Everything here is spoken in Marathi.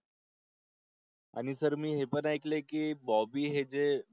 आणि सर मी हें पण ऐकलय की बॉबी हे जे